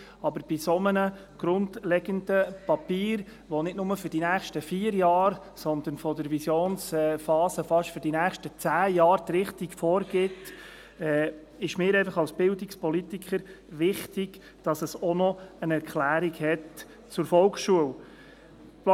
Aber bei einem so grundlegenden Papier, welches nicht nur für die nächsten vier Jahre, sondern was die Visionsphase betrifft, fast für die nächsten zehn Jahre die Richtung vorgibt, ist es mir als Bildungspolitiker wichtig, dass es auch noch eine Erklärung zur Volksschule gibt.